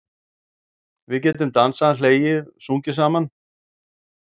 Við getum dansað, hlegið, sungið saman.